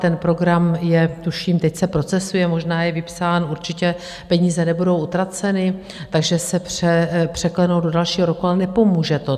Ten program je - tuším, teď se procesuje - možná je vypsán, určitě peníze nebudou utraceny, takže se překlenou do dalšího roku, ale nepomůže to.